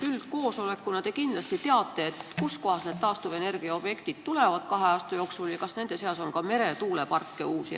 Üldkoosolekuna te kindlasti teate, kus kohas need taastuvenergiaobjektid on ja kas nende seas on ka uusi meretuuleparke.